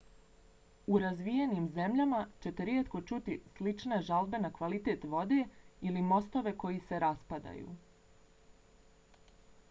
u razvijenim zemljama ćete rijetko čuti slične žalbe na kvalitet vode ili mostove koji se raspadaju